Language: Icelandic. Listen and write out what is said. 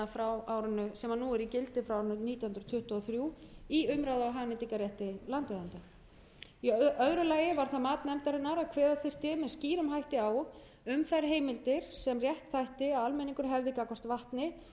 frá árinu nítján hundruð tuttugu og þrjú á umráða og hagnýtingarrétti landeigenda í öðru lagi var það mat nefndarinnar að kveða þyrfti með skýrum hætti á um þær heimildir sem rétt þætti að almenningur hefði gagnvart vatni